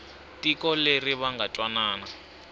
tiko leri va nga twanana